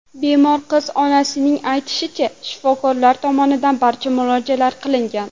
Bemor qiz onasining aytishicha, shifokorlar tomonidan barcha muolajalar qilingan.